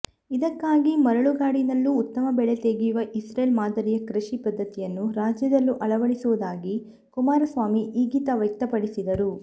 ಇದಕ್ಕಾಗಿ ಮರಳುಗಾಡಿನಲ್ಲೂ ಉತ್ತಮ ಬೆಳೆ ತೆಗೆಯುವ ಇಸ್ರೇಲ್ ಮಾದರಿಯ ಕೃಷಿ ಪದ್ಧತಿಯನ್ನು ರಾಜ್ಯದಲ್ಲೂ ಅಳವಡಿಸುವುದಾಗಿ ಕುಮಾರಸ್ವಾಮಿ ಇಂಗಿತ ವ್ಯಕ್ತಪಡಿಸಿದರು